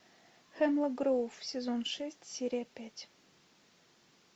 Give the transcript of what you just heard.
хемлок гроув сезон шесть серия пять